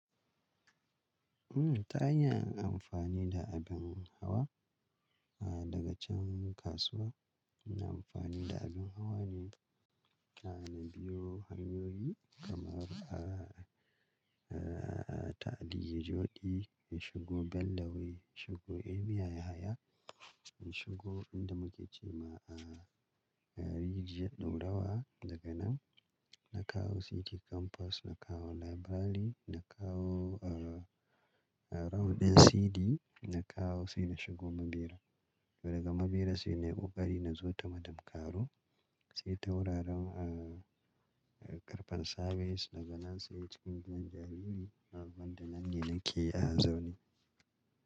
Mm ta hanyar amfani da abin hawa, ah daga can kasuwa ina amfani da abin hawa ne, a na biyo hanyoyi kamar a, a, a taɗi yajodi, in shigo Bellaway, shigo emiyaya, in shigo wanda muke ce ma a, a Rigiyar ɗaurawa. Daga nan na kawo City Campus, na kawo Library, na kawo a, a round ɗin CD, na kawo sai na shigo Mabera. Daga Mabera sai na ƙoƙari na zo ta Madam Karo sai tauraron a, a karfen Service daga nan sai cikin gidan jarumi, abin da nan ne nake a zaune.